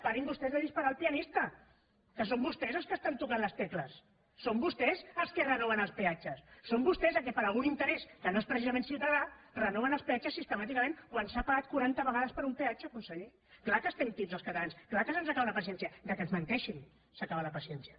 parin vostès de disparar al pianista que són vostès els que toquen les tecles són vostès els que renoven els peatges són vostès el que per algun interès que no és precisament ciutadà renoven els peatges sistemàticament quan s’ha pagat quaranta vegades per un peatge conseller és clar que estem tips els catalans és clar que se’ns acaba la paciència que ens menteixin s’acaba la paciència